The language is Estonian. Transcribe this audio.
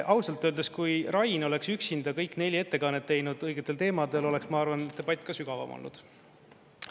Ausalt öeldes, kui Rain oleks üksinda kõik neli ettekannet teinud õigetel teemadel, oleks, ma arvan, et debatt ka sügavam olnud.